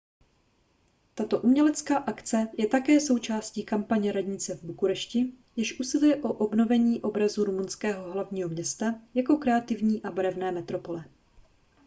tato umělecká akce je také součástí kampaně radnice v bukurešti jež usiluje o obnovení obrazu rumunského hlavního města jako kreativní a barevné metropole